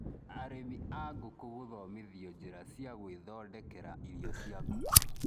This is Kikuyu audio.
Arĩmi a ngũkũ gũthomithio njĩra cia gũĩthondekera irio cia ngũkũ